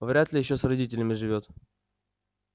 вряд ли ещё с родителями живёт